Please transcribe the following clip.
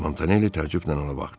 Montanelli təəccüblə ona baxdı.